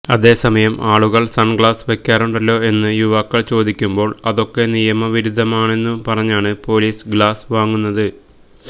അതേസമയം ആളുകള് സണ്ഗ്ലാസ് വയ്ക്കാറുണ്ടല്ലോ എന്ന് യുവാക്കള് ചോദിക്കുമ്പോള് അതൊക്കെ നിയമവിരുദ്ധമാണെന്നന്നു പറഞ്ഞാണ് പോലീസ് ഗ്ലാസ് വാങ്ങുന്നത്